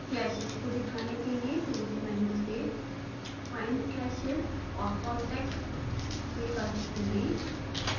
clashes को दिखाने के लिए tools मेन्यू से findclashes/contacts विकल्प चुनें